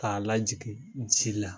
K'a lajigin ji la